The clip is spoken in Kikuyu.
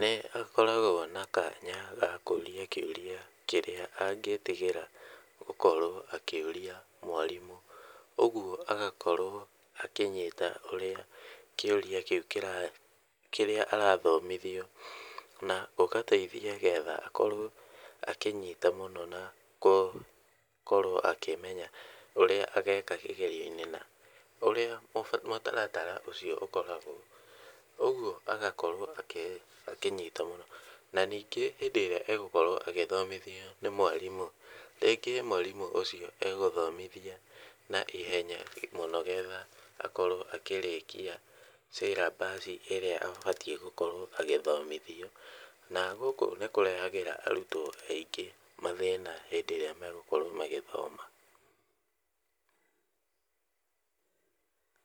nĩ akoragwo na kanya gakũũria kĩũria kĩrĩa angĩtigĩra gũkorwo akĩũria mwarimũ, ũgwo agakorwo akĩnyita ũrĩa kĩũria kĩu kĩrĩa arathomithio, na ũgateithia getha akorwo akĩnyita mũno na korwo akĩmenya ũrĩa ageka kĩgerio-inĩ, na ũrĩa mũtaratara ũcio ũkoragwo, ũgwo agakorwo ake akĩnyita , na ningĩ hĩndĩ ĩrĩa agũkorwo agĩthomithio nĩ mwarimũ, rĩngĩ mwarimũ ũcio egũthomithia na ihenya mũno getha akorwo akĩrĩkia syllabus ĩrĩa abatiĩ gũkorwo agĩthomithia, na gũkũ nĩ kũrehagĩra arutwo aingĩ mathĩna hĩndĩ ĩrĩa magũkorwo magĩthoma.